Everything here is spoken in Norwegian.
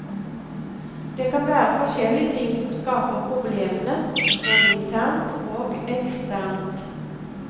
Det kan være forskjellige ting som skaper problemene, både internt og eksternt.